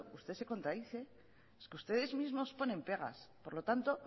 usted se contradice es que ustedes mismos ponen pegas por lo tanto